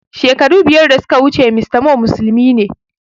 Shekaru biyar da suka wuce mr Moh musulmi ne